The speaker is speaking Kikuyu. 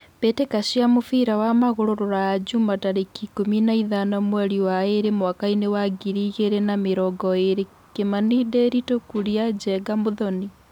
Mbĩ tĩ ka cia mũbira wa magũrũ Ruraya Juma tarĩ ki ikũmi na ithano mweri wa ĩ rĩ mwakainĩ wa ngiri igĩ rĩ na mĩ rongo ĩ rĩ : Kimani, Ndiritu, Kuria, Njenga, Muthoni.